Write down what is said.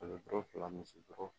Kalo duuru fila misi duuru